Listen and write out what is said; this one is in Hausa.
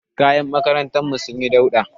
Kayan makarantar mu sun yi dauɗa